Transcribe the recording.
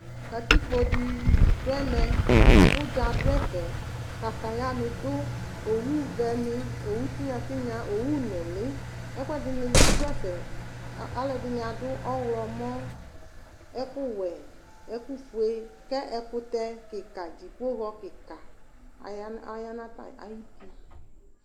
Katikpodi dʋ ɛmɛ kʋ ʋdza dʋ ɛfɛ katayani dʋ owʋvɛni owʋ tinya tinya owʋ nulini ɛkʋedini dʋ ɛfɛ alʋɛdini adʋ ɔwlɔlɔ ɛkʋwɛ ɛkʋ fʋe kʋ ɛkʋtɛ kikadi dzipohɔ kika aya nʋ ayʋ uti